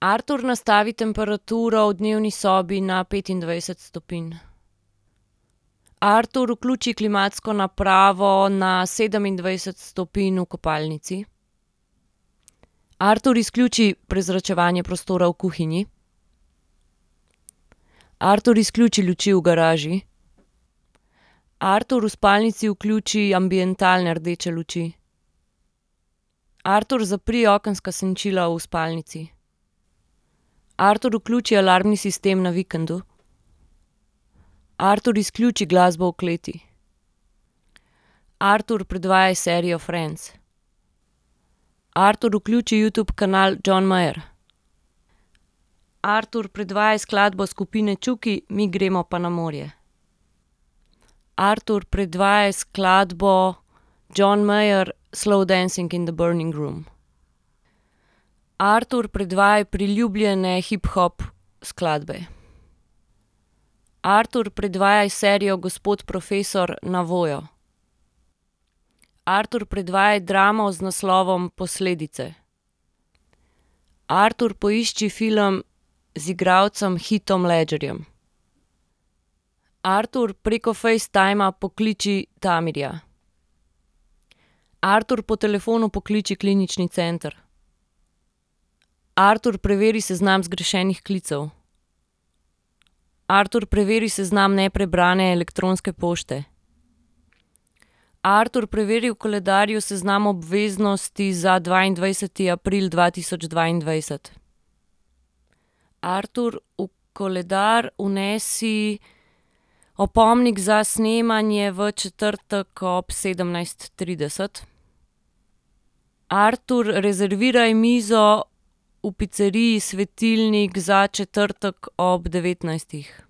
Artur, nastavi temperaturo v dnevni sobi na petindvajset stopinj. Artur, vključi klimatsko napravo na sedemindvajset stopinj v kopalnici. Artur, izključi prezračevanje prostora v kuhinji. Artur, izključi luči v garaži. Artur, v spalnici vključi ambientalne rdeče luči. Artur, zapri okenska senčila v spalnici. Artur, vključi alarmni sistem na vikendu. Artur, izključi glasbo v kleti. Artur, predvajaj serijo Friends. Artur, vključi Youtube kanal John Mayer. Artur, predvajaj skladbo skupine Čuki Mi gremo pa na morje. Artur, predvajaj skladbo John Mayer, Slow dancing in the burning room. Artur, predvajaj priljubljene hip hop skladbe. Artur, predvajaj serijo Gospod profesor na Voyo. Artur, predvajaj dramo z naslovom Posledice. Artur, poišči film z igralcem Heathom Ledgerjem. Artur, preko Facetima pokliči Tamirja. Artur, po telefonu pokliči klinični center. Artur, preveri seznam zgrešenih klicev. Artur, preveri seznam neprebrane elektronske pošte. Artur, preveri v koledarju seznam obveznosti za dvaindvajseti april dva tisoč dvaindvajset. Artur, v koledar vnesi opomnik za snemanje v četrtek ob sedemnajst trideset. Artur, rezerviraj mizo v piceriji Svetilnik za četrtek ob devetnajstih.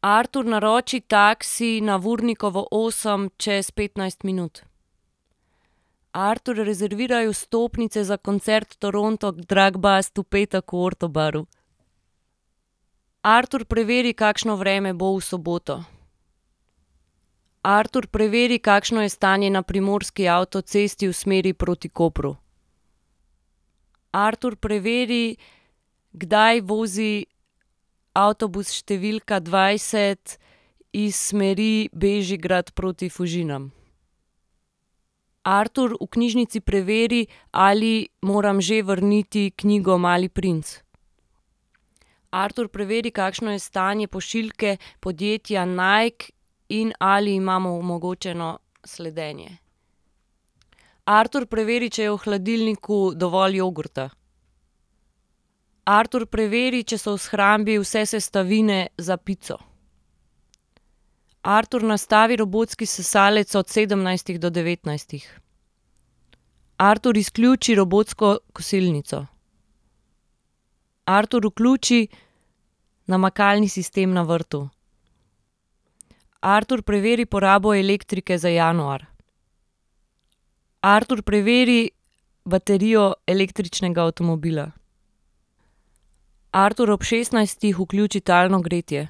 Artur, naroči taksi na Vurnikovo osem čez petnajst minut. Artur, rezerviraj vstopnice za koncert Toronto drug bust v petek v Orto baru. Artur, preveri, kakšno vreme bo v soboto. Artur, preveri, kakšno je stanje na primorski avtocesti v smeri proti Kopru. Artur, preveri, kdaj vozi avtobus številka dvajset iz smeri Bežigrad proti Fužinam. Artur, v knjižnici preveri, ali moram že vrniti knjigo Mali princ. Artur, preveri, kakšno je stanje pošiljke podjetja Nike in ali imamo omogočeno sledenje. Artur, preveri, če je v hladilniku dovolj jogurta. Artur, preveri, če so v shrambi vse sestavine za pico. Artur, nastavi robotski sesalec od sedemnajstih do devetnajstih. Artur, izključi robotsko kosilnico. Artur, vključi namakalni sistem na vrtu. Artur, preveri porabo elektrike za januar. Artur, preveri baterijo električnega avtomobila. Artur, ob šestnajstih vključi talno gretje.